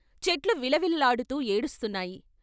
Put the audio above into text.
చెట్లు విల విల్లాడుతూ ఏడుస్తున్నాయి.